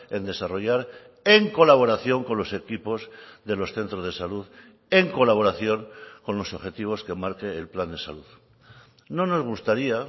en desarrollar en colaboración con los equipos de los centros de salud en colaboración con los objetivos que marque el plan de salud no nos gustaría